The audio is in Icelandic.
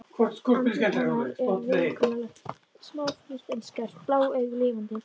Andlit hennar er viðkunnanlegt, smáfrítt en skarpt, blá augun lifandi.